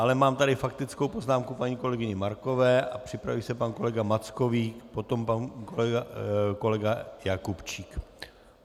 Ale mám tady faktickou poznámku paní kolegyně Markové a připraví se pan kolega Mackovík, potom pan kolega Jakubčík.